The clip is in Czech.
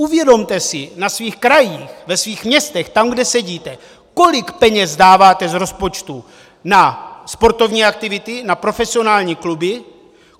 Uvědomte si na svých krajích, ve svých městech, tam, kde sedíte, kolik peněz dáváte z rozpočtu na sportovní aktivity, na profesionální kluby.